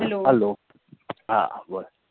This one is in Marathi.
Hello? हा बोला.